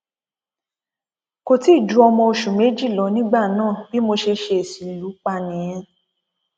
kò tí ì ju ọmọ oṣù méjì lọ nígbà náà bí mo ṣe ṣèèṣì lù ú pa nìyẹn